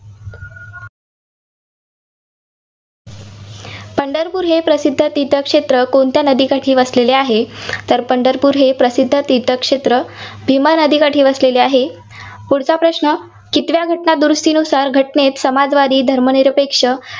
पंढरपूर हे प्रसिद्ध तीर्थक्षेत्र कोणत्या नदीकाठी वसलेले आहे? तर पंढरपूर हे प्रसिद्ध तीर्थक्षेत्र भीमा नदीकाठी वसलेले आहे. पुढचा प्रश्न, कितव्या घटना दुरुस्तीनुसार घटनेत समाजवादी, धर्मनिरपेक्ष